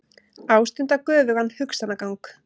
Ástunda göfugan hugsanagang.